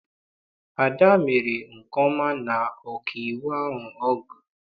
Ada mere nke ọma na ọkaiwu ahụ ọ gụrụ.